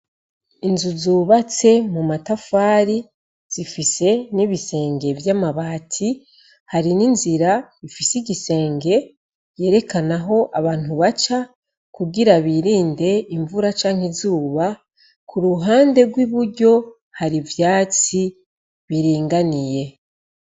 inzu zubatse mu matafari, zifise n'ibisenge vy'amabati, hari n'inzira ifise igisenge yerekana aho abantu baca kugira birinde imvura canke izuba. ku ruhande rw'iburyo hari ivyatsi biringaniye.